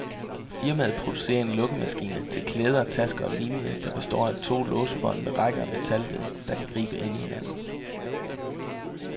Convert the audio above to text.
Firmaet producerer en lukkemekanisme til klæder, tasker og lignende, der består af to låsebånd med rækker af metalled, der kan gribe ind i hinanden.